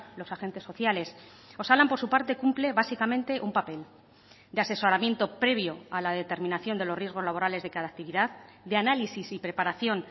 los agentes sociales osalan por su parte cumple básicamente un papel de asesoramiento previo a la determinación de los riesgos laborales de cada actividad de análisis y preparación